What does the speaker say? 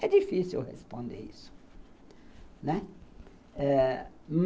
É difícil eu responder isso, né, ãh